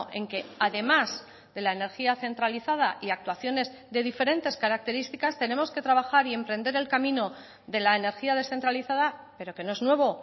en que además de la energía centralizada y actuaciones de diferentes características tenemos que trabajar y emprender el camino de la energía descentralizada pero que no es nuevo